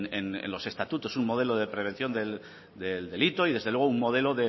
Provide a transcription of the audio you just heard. en el en los estatutos un modelo de prevención del delito y desde luego un modelo